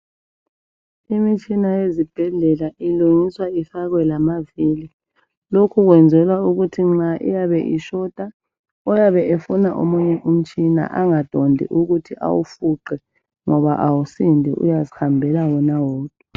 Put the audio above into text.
imitshina ezibhedlela ilungiswa ifakwe amavili lokho kuyenzelwa ukuthi nxa etshota oyabe efuna omunye umtshina engadondi ukuthi awufuqe ngoba kawusindi uyazihambela yedwa